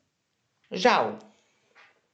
Žal.